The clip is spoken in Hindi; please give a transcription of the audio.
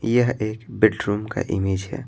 यह एक बेडरूम का इमेज है।